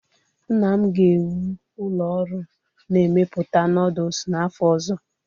Nna m ga-ewu ụlọ ọrụ na-emepụta nooduls n'afọ ọzọ